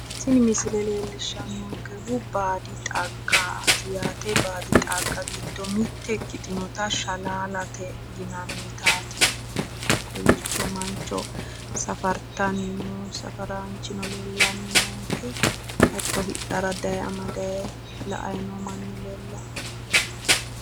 Tini misile leellishshannokehu baadi xaggaati yaate, baadi xagga giddo mitte ikkitinota shalaalate yinannitaati kowiicho mancho safartanni noo safaraanchino leellanni noonke hatto hidhara dayee amadday la"ay no manni leellawo